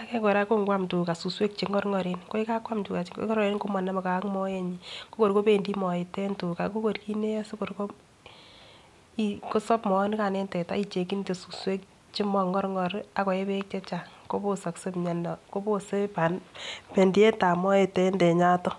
age kora ngwan teta suswek chengoengoren komaname gei ak moenyin akorkobendi Moet en tuga kokor kit netae kosabe moaniganbenbteta akekinbsuswek chengorngor akoyee bek chechan kobosakse miando akobose bendiet ab Moet en tenyaton